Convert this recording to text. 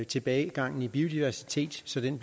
tilbagegangen i biodiversiteten